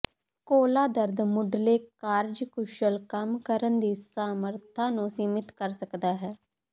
ਕੋਲਾ ਦਰਦ ਮੁਢਲੇ ਕਾਰਜਕੁਸ਼ਲ ਕੰਮ ਕਰਨ ਦੀ ਸਮਰੱਥਾ ਨੂੰ ਸੀਮਿਤ ਕਰ ਸਕਦਾ ਹੈ